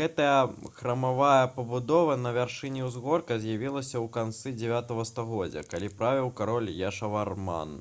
гэтая храмавая пабудова на вяршыні ўзгорка з'явілася ў канцы 9 стагоддзя калі правіў кароль яшаварман